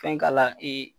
Fɛn k'a la ee